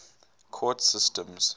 court systems